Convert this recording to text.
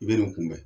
I bɛ nin kunbɛn